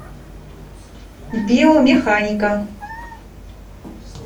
биомеханика